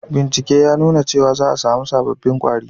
Bincike ya nuna cewa za a samu sabobbin kwari